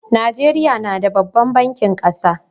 Najeriya na da babban bankin kasa.